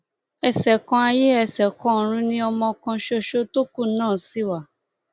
ẹṣẹkanayé ẹsẹkanọrun ni ọmọ kan ṣoṣo tó kú náà sì wà